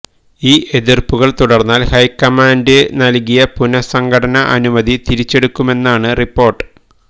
ഈ എതിര്പ്പുകള് തുടര്ന്നാല് ഹൈക്കമാന്ഡ് നല്കിയ പുനഃസംഘടന അനുമതി തിരിച്ചെടുക്കുമെന്നാണ് റിപ്പോര്ട്ട്